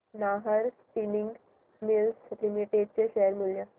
Nahar spinning mills limited चे share मूल्य